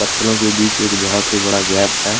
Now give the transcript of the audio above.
पत्थरों के बीच एक बहुत ही बड़ा गैप हैं।